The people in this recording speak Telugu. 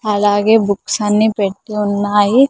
అలాగే బుక్స్ అన్ని పెట్టి ఉన్నాయి.